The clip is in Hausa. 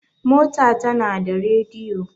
mota tana da rediyo